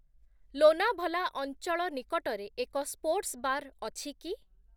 ଲୋନାଭଲା ଅଞ୍ଚଳ ନିକଟରେ ଏକ ସ୍ପୋର୍ଟସ୍ ବାର୍ ଅଛି କି ?